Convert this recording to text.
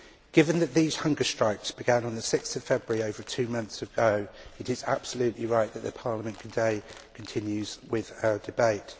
Given that these hunger strikes began on 6 February over two months ago it is absolutely right that Parliament today continues with this debate.